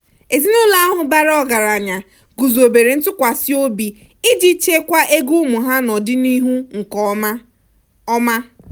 ezinụlọ ahụ bara ọgaranya guzobere ntụkwasịobi iji chekwaa ego ụmụ ha n'ọdịnihu nke ọma. ọma.